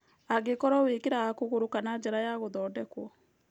Angĩkorũo wĩkĩraga kũgũrũ kana njara ya gũthondekwo.